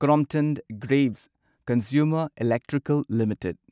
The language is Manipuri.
Crompton Greaves Consumer Electrical limited